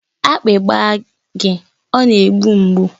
Akpị gba gị ọ na-egbu mgbu